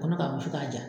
Kɔnɔ ka wusu k'a ja